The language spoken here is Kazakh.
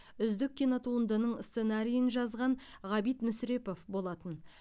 үздік кинотуындының сценариін жазған ғабит мүсірепов болатын